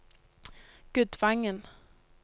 Gudvangen